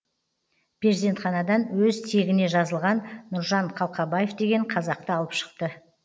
перзентханадан өз тегіне жазылған нұржан қалқабаев деген қазақты алып шықты